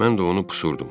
Mən də onu pusurdum.